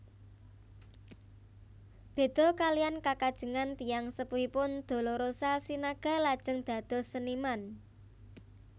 Béda kaliyan kekajengan tiyang sepuhipun Dolorosa Sinaga lajeng dados seniman